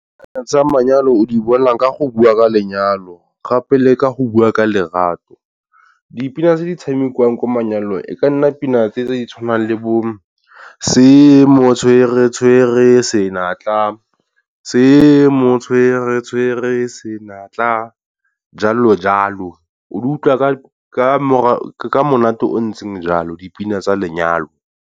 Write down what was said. Tsa manyalo o di bona ka go bua ka lenyalo gape le ka go bua ka lerato. Dipina tse di tshamikiwang kwa manyalo e ka nna pina tse di tshwanang le bo se mo tshwere-tshwere senatla, se mo tshwere-tshwere senatla jalo jalo. O di utlwa ka ka monate o ntseng jalo dipina tsa lenyalo.